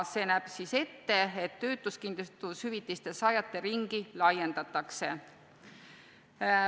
See näeb ette, et töötuskindlustushüvitiste saajate ringi laiendatakse.